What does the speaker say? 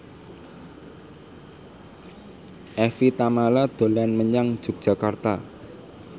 Evie Tamala dolan menyang Yogyakarta